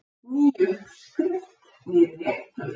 Ný uppskrift, nýr réttur.